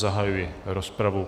Zahajuji rozpravu.